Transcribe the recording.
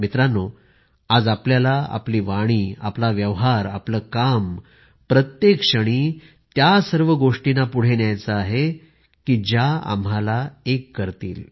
मित्रांनो आज आपल्याला आपली वाणी आपला व्यवहार आपले काम प्रत्येक क्षणी त्या सर्व गोष्टींना पुढे न्यायचे आहे ज्या आम्हाला एक करतील